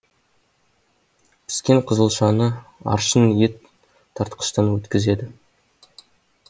піскен қызылшашы аршын ет тартқыштан өткізеді